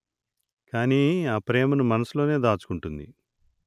కాని ఆ ప్రేమను మనసులోనే దాచుకుంటుంది